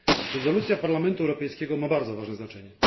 Rezolucja Parlamentu Europejskiego ma bardzo ważne znaczenie.